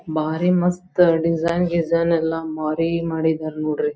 ಬಾರಿ ಮಸ್ತ್ ಡಿಸೈನ್ ಗಿಸೈನ್ ಎಲ್ಲಾ ಬಾರಿ ಮಾಡಿದರ್ ನೋಡ್ರಿ.